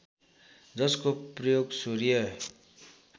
जसको प्रयोग सूर्य